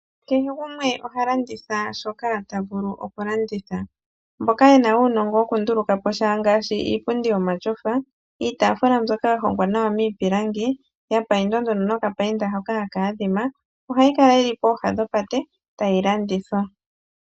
Kehe gumwe oha landitha shoka ta vulu okulanditha. Mboka ye na uunongo wokundulukapo sha ngaashi iipundi yomatyofa, iitaafula mbyoka ya hongwa nawa miipilangi ya paindwa nokapainda hoka haka adhima. Ohayi kala yi li pooha dhopate tayi landithwa.